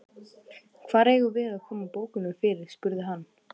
Hvar eigum við að koma bókunum fyrir? spurði hann.